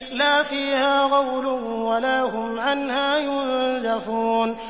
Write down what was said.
لَا فِيهَا غَوْلٌ وَلَا هُمْ عَنْهَا يُنزَفُونَ